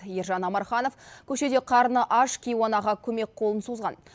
ержан омарханов көшеде қарны аш кейуанаға көмек қолын созған